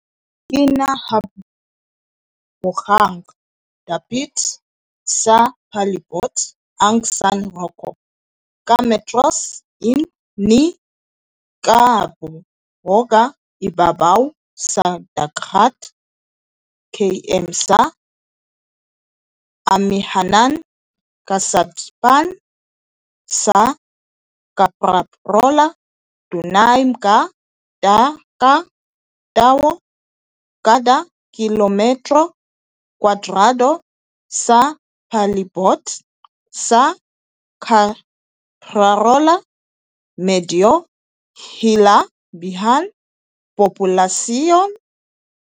Kinahabogang dapit sa palibot ang San Rocco, ka metros ni kahaboga ibabaw sa dagat, km sa amihanan-kasadpan sa Caprarola. Dunay mga ka tawo kada kilometro kwadrado sa palibot sa Caprarola medyo hilabihan populasyon.